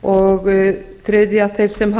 þriðja þeir sem hafa